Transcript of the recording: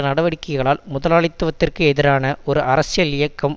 நடவடிக்கைகளால் முதலாளித்துவத்திற்கெதிரான ஒரு அரசியல் இயக்கம்